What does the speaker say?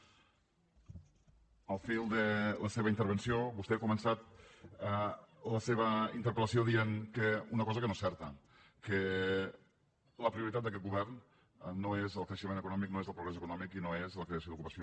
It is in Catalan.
al fil de la seva intervenció vostè ha començat la seva interpel·lació dient una cosa que no és certa que la prioritat d’aquest govern no és el creixement econòmic no és el progrés econòmic i no és la creació d’ocupació